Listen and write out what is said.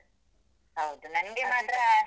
.